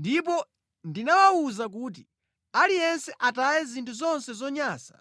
Ndipo ndinawawuza kuti, ‘Aliyense ataye zinthu zonse zonyansa